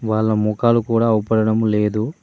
వాళ్ల ముఖాలు కూడా అవ్పడడం లేదు.